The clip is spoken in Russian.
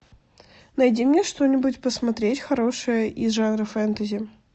найди мне что нибудь посмотреть хорошее из жанра фэнтези